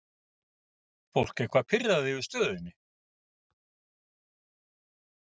Lóa: Fólk eitthvað pirrað yfir stöðunni?